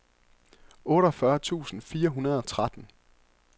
otteogfyrre tusind fire hundrede og tretten